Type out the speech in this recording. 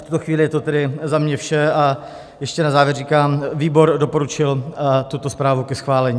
V tuto chvíli je to tedy za mě vše a ještě na závěr říkám: výbor doporučil tuto zprávu ke schválení.